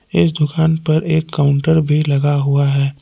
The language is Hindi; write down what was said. इस दुकान पर एक काउंटर भी लगा हुआ है।